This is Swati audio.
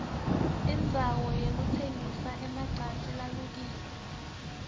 indzawo yekutsengisa emacansi lalukiwe